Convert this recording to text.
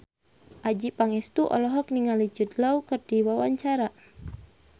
Adjie Pangestu olohok ningali Jude Law keur diwawancara